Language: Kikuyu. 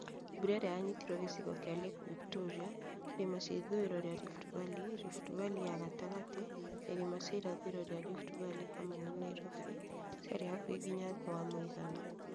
Mbura ĩrĩa yanyitirwo gĩcigo kĩa Lake Victoria, Irĩma cia ithũiro ria Rift Valley, Rift Valley ya gatagatĩ , na irĩma cia irathĩro rĩa Rift Valley (hamwe na Nairobi)ciarĩ hakuhĩ nginya thĩ wa mũigana